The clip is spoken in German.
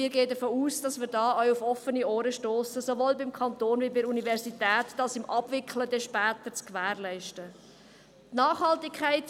Wir gehen davon aus, dass wir diesbezüglich auch auf offene Ohren stossen, sowohl beim Kanton als auch bei der Universität, damit dies in der Abwicklung später gewährleistet wird.